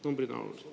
Numbrid on olulised.